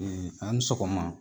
a' ni sɔgɔma!